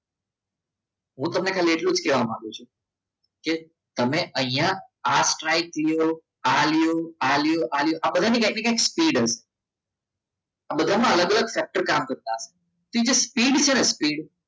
હું તમને ખાલી એટલું જ કહેવા માગું છું કે તમે અહીંયા આ સ્ટ્રાઈક આ લો આ લ્યો આ લ્યો આ લ્યો આ બધાની કંઈકને કંઈક સ્પીડ હોય આ બધામાં અલગ અલગ સેક્ટર કામ કરતા હોય એ જે સ્પીડ છે ને